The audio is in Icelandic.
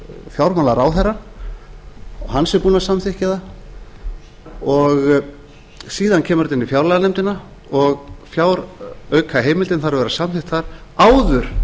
fjármálaráðherra og hann sé búinn að samþykkja það síðan kemur þetta inn í fjárlaganefndina og fjáraukaheimildin þarf að vera samþykkt þar áður